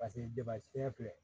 Paseke debafe filɛ